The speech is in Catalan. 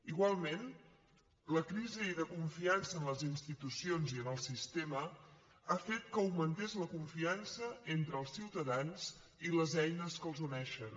igualment la crisi de confiança en les institucions i en el sistema ha fet que augmentés la confiança entre els ciutadans i les eines que els uneixen